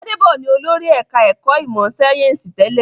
Gbádédọ̀ ni olórí ẹ̀ka-ẹ̀kọ́ ìmọ̀-sáyẹ́ńsì tẹ́lẹ̀.